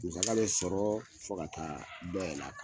Musaga bɛ sɔrɔ fo ka taa dɔ yɛlɛ a kan.